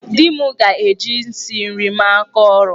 Di m ga-eji isi nri mere aka ọru.